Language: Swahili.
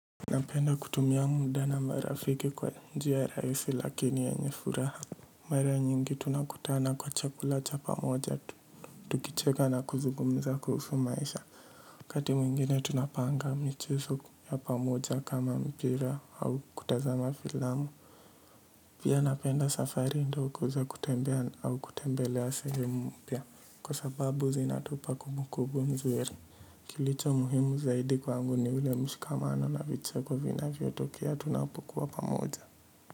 Napenda kutumia muda na marafiki kwa njia rahisi lakini yenye furaha. Mara nyingi tunakutana kwa chakula cha pamoja tu. Tukicheka na kuzugumza kuhusu maisha. Wakati mwingine tunapanga michezo ya pamoja kama mpira au kutazama filamu. Pia napenda safari ndogo za kutembea au kutembelea sehemu mpya. Kwa sababu zinatupa kumbukumbu nzuri. Kilicho muhimu zaidi kwangu ni ule mshikamano na vicheko vinavyotokea tunapokuwa pamoja.